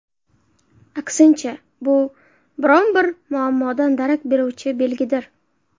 Aksincha, bu biron-bir muammodan darak beruvchi belgidir.